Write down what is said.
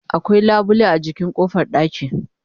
akwai labule a jikin ƙofar ɗaki